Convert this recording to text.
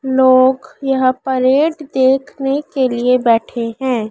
लोग यहाँ परेड देखने के लिए बैठे हैं।